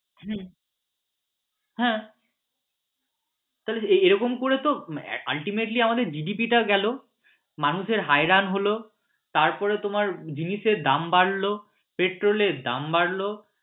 হম হ্যাঁ তাহলে এরকম করে তো ultimately আমাদের GDP টা গেলো মানুষের হয়রান হল তারপর তোমার জিনিসের দাম বাড়ল পেট্রোল এর দাম বাড়ল